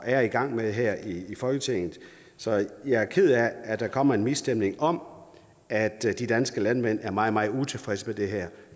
er i gang med her i folketinget så jeg er ked af at der kommer en misstemning om at de danske landmænd er meget meget utilfredse med det her